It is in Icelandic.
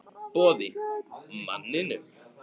Boði: Manninum?